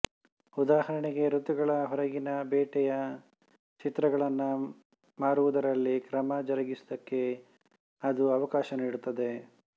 ಉದಾಹರಣೆಗೆ ಋತುಗಳ ಹೊರಗಿನ ಬೇಟೆಯ ಚಿತ್ರಗಳನ್ನು ಮಾರುವುದರಲ್ಲಿ ಕ್ರಮ ಜರುಗಿಸುವುದಕ್ಕೆ ಅದು ಅವಕಾಶ ನೀಡುತ್ತದೆ